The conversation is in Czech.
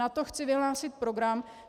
Na to chci vyhlásit program.